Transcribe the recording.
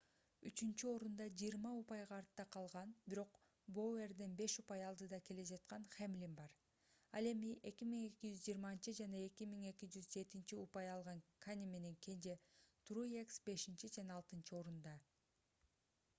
үчүнчү орунда 20 упайга артта калган бирок боуэрден беш упай алдыда келе жаткан хэмлин бар ал эми 2220 жана 2207 упай алган кане менен кенже труекс бешинчи жана алтынчы орунда